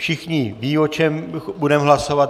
Všichni vědí, o čem budeme hlasovat.